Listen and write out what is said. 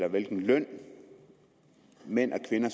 i hvilken løn mænd og kvinder